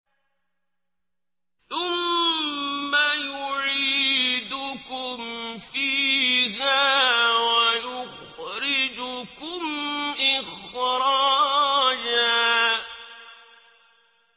ثُمَّ يُعِيدُكُمْ فِيهَا وَيُخْرِجُكُمْ إِخْرَاجًا